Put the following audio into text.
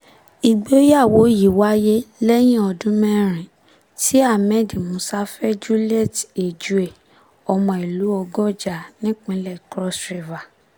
ìgbéyàwó yìí wáyé lẹ́yìn ọdún mẹ́rin tí ahmed musa fẹ́ juliet ejue ọmọ ìlú ọgọ́jà nípínlẹ̀ cross-river